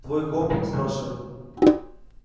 твой комп спрашивает